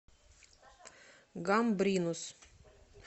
гамбринус